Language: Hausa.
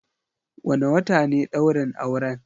Wane wata ne ɗaurin auren?